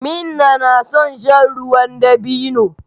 Minna na son shan ruwan dabino.